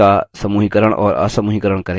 objects का समूहीकरण और असमूहीकरण करें